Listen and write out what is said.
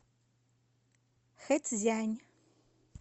хэцзянь